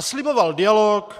A sliboval dialog,